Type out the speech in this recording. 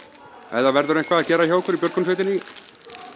ef það verður eitthvað að gera hjá okkur í björgunarsveitinni